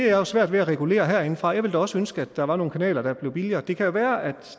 jeg svært ved at regulere herindefra jeg ville da også ønske at der var nogle kanaler der blev billigere det kan jo være at